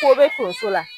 Ko be tonso la